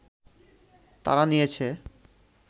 তারা নিয়েছে